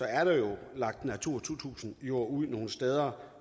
er der jo lagt natura to tusind ud nogle steder